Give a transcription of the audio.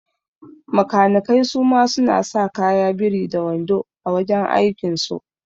Makanikai suma suna sa kaya biri da wando a wajan aikin so